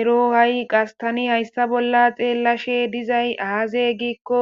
ero ha'i qas tani hayssa bolla xeellashe dizay aaze giikko